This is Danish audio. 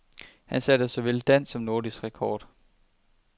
Han satte såvel dansk som nordisk rekord.